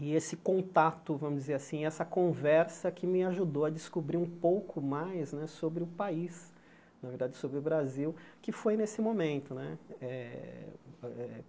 E esse contato, vamos dizer assim, essa conversa que me ajudou a descobrir um pouco mais né sobre o país, na verdade sobre o Brasil, que foi nesse momento né. Eh